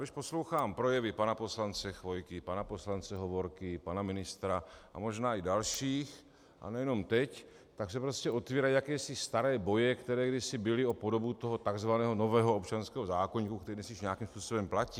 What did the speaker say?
Když poslouchám projevy pana poslance Chvojky, pana poslance Hovorky, pana ministra a možná i dalších, a nejenom teď, tak se prostě otvírají jakési staré boje, které kdysi byly, o podobu toho takzvaného nového občanského zákoníku, který dnes již nějakým způsobem platí.